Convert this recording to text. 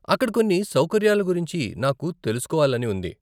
అక్కడ కొన్ని సౌకర్యాల గురించి నాకు తెలుసుకోవాలని ఉంది.